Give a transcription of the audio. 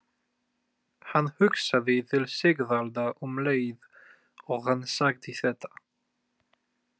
Hann hugsaði til Sigvalda um leið og hann sagði þetta.